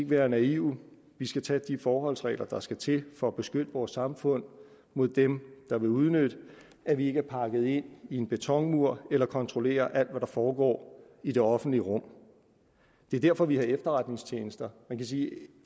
være naive vi skal tage de forholdsregler der skal til for at beskytte vores samfund mod dem der vil udnytte at vi ikke er pakket ind i en betonmur eller kontrollerer alt hvad der foregår i det offentlige rum det er derfor vi har efterretningstjenester man kan sige at